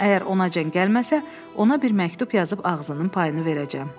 Əgər onacan gəlməsə, ona bir məktub yazıb ağzının payını verəcəm.